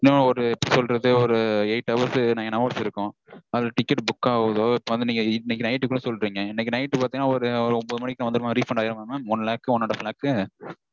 என்ன mam ஒரு எப்படி சொல்றது. ஒரு eight hours nine hours இருக்கும். அதுல ticket book ஆகுதோ இப்போ வந்து நீங்க இன்னைக்கு night -டுக்குள்ள சொல்றீங்க. இன்னைக்கு night பாத்தீங்கனா ஒரு ஒன்பது மணிக்கு வந்துருமா mam? refund ஆயிருமா one lakh one and half lakh